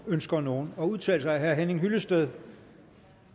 ønsker nogen at udtale sig herre henning hyllested